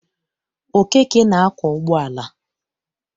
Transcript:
Okeke na-akwọ ụgbọala.